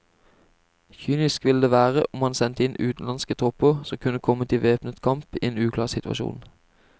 Kynisk ville det være om man sendte inn utenlandske tropper som kunne komme i væpnet kamp i en uklar situasjon.